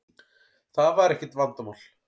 Það var ekkert vandamál.